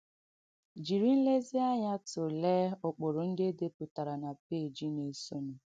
Jìrì nléziānyà tụ̀leè ụ̀kpụrụ ndị e dèpùtàrà na péèjì na-èsọ̀nụ̀.